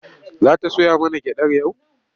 Za ta soya mana gyaɗar yau?